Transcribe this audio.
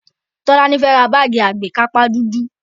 Tolani fẹ́ ra báàgì àgbékápá dúdú